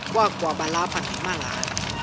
kwakaba lapha nemalana